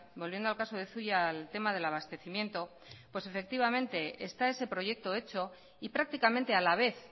volviendo al caso de zuia al tema del abastecimiento pues efectivamente está ese proyecto hecho y prácticamente a la vez